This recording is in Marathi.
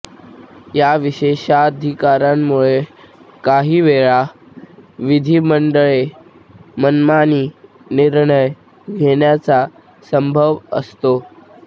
या विशेषाधिकारांमुळे काही वेळा विधिमंडळे मनमानी निर्णय घेण्याचा संभव असतो